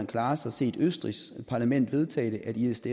klarest har set det østrigske parlament vedtage at isds